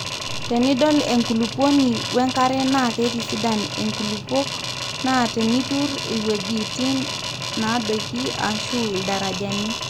tenidol enkulupuoni we nkare naa keitisidan nkulupuok naa teniturr iewueji nadoiki ashu ildarajani